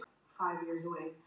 Það var hamingjudagur.